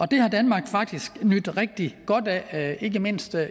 det har danmark faktisk nydt rigtig godt af ikke mindst